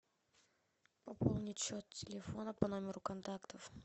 пополнить счет телефона по номеру контактов